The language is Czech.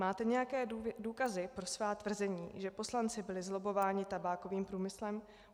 Máte nějaké důkazy pro svá tvrzení, že poslanci byli zlobbováni tabákovým průmyslem?